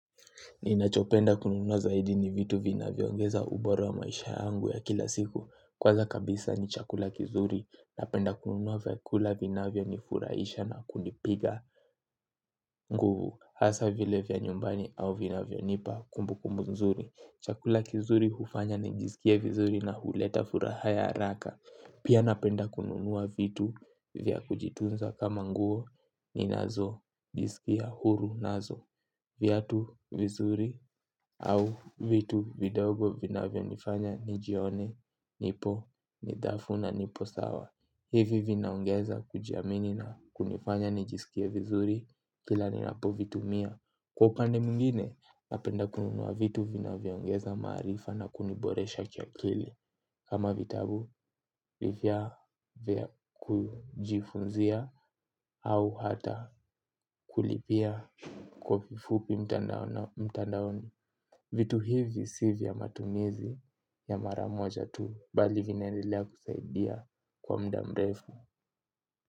Ninachopenda kununua zaidi ni vitu vinaviongeza ubora wa maisha yangu ya kila siku. Kwanza kabisa ni chakula kizuri. Napenda kununua vyakula vina vionifuraisha na kunipiga. Nguvu hasa vile vya nyumbani au vinavionipa kumbukumbu nzuri. Chakula kizuri hufanya na njizikie vizuri na huleta furaha ya haraka. Pia napenda kununua vitu vya kujitunza kama nguo ni nazo. Jisikia huru nazo. Vyatu vizuri au vitu vidogo vina vionifanya nijione nipo nidhafu na nipo sawa. Hivi vinaongeza kujiamini na kunifanya nijisikie vizuri. Kila ninapo vitumia kwa upande muingine napenda kununuwa vitu vina viongeza marifa na kuniboresha kiakili. Kama vitabu vya vya kujifunzia au hata kulipia kwa kifupi mtandaoni. Vitu hivi si vya matumizi ya maramoja tu bali vinaendelea kusaidia kwa mda mrefu.